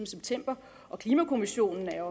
september og klimakommissionen er